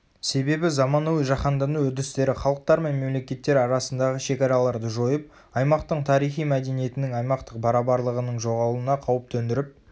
себебі заманауи жаһандану үрдістері халықтар мен мемлекеттер арасындағы шекараларды жойып аймақтың тарихи мәдениетінің аймақтық барабарлығының жоғалуына қауіп төндіріп